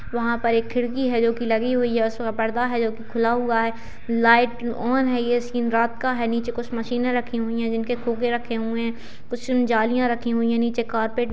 वहाँ पर एक खिड़की है जोकि लगी हुई है और उस पर पर्दा है जो की खुला हुआ है लाइट ऑन है ये सीन रात का है नीचे कुछ मशीनें रखी हुई हैं जिनके खोके रखे हुए हैं कुछ जालियाँ रखी हुई हैं नीचे कारपेट --